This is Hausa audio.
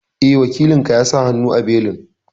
Eh, Wakilin ka ya sa hannu a belin